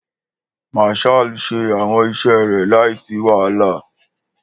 Marshall ṣe awọn iṣẹ rẹ laisi wahala.